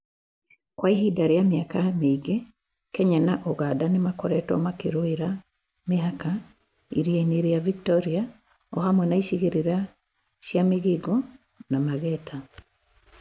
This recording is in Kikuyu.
Kwa ihinda rĩa mĩaka mĩingĩ, Kenya na ũganda nĩ makoretwo makĩrũira mĩhaka iria-inĩ rĩaVictoria, o hamwe na icigĩrĩra chia Migingo na Mageta